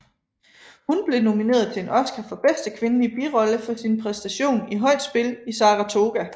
Hun blev nomineret til en Oscar for bedste kvindelige birolle for sin præstation i Højt spil i Saratoga